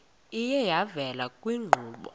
iye yavela kwiinkqubo